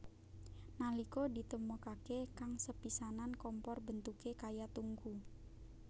Nalika ditemokaké kang sepisanan kompor bentuké kaya tungku